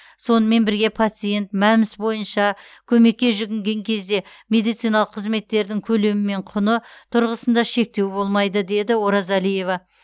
сонымен бірге пациент мәмс бойынша көмекке жүгінген кезде медициналық қызметтердің көлемі мен құны тұрғысында шектеу болмайды деді оразалиева